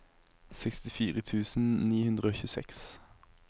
sekstifire tusen ni hundre og tjueseks